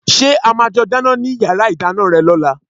Ṣé a máa jọ dáná ní yàrá ìdáná rẹ lọ́la?